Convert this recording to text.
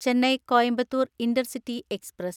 Chennai Coimbatore‍ intercity express